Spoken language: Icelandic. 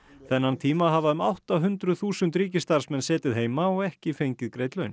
þennan tíma hafa um átta hundruð þúsund ríkisstarfsmenn setið heima og ekki fengið greidd laun